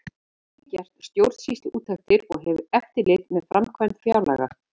Stofnunin getur einnig gert stjórnsýsluúttektir og hefur eftirlit með framkvæmd fjárlaga.